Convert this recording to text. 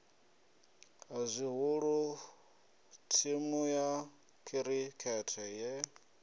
zwihulu thimu ya khirikhethe ye